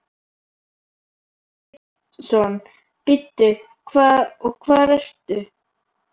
Símon Birgisson: Bíddu, og hvar ert þú?